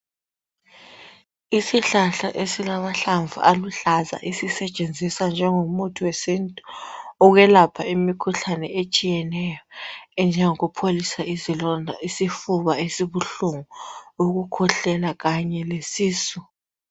Isihlahla esilamahlamvu aluhlaza esisetshenziswa njengo muthi wesintu ukwelapha imikhuhlane etshiyeneyo okunjengo kupholisa izilonda isifuba esibuhlungu ,ukukhwehlela kanye le sisu